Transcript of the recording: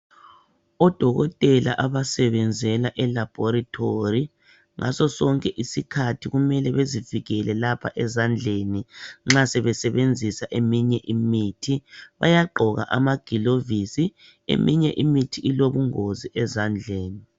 Odokotela abasebenzela elaboratory ngaso sonke isikhathi kumele bazivikele lapha ezandleni nxa sebesebenzisa eminye imithi bayagqoka amagilovisi, eminye imithi ilobungozi ezandleni